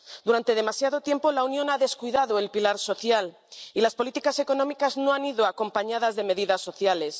Durante demasiado tiempo la Unión ha descuidado el pilar social, y las políticas económicas no han ido acompañadas de medidas sociales.